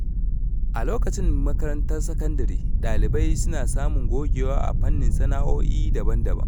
A lokacin makarantar sakandare, ɗalibai suna samun gogewa a fannonin sana’o’i daban-daban.